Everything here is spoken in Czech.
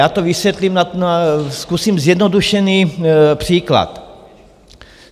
Já to vysvětlím, zkusím zjednodušený příklad.